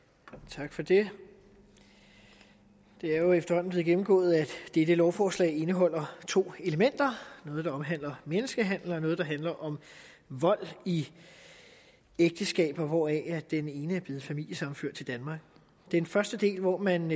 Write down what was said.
tak for det det er jo efterhånden blevet gennemgået at dette lovforslag indeholder to elementer noget der omhandler menneskehandel og noget der handler om vold i ægteskaber hvoraf den ene er blevet familiesammenført til danmark den første del hvor man